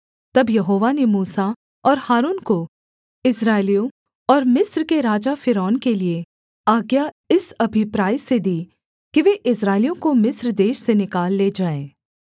तब यहोवा ने मूसा और हारून को इस्राएलियों और मिस्र के राजा फ़िरौन के लिये आज्ञा इस अभिप्राय से दी कि वे इस्राएलियों को मिस्र देश से निकाल ले जाएँ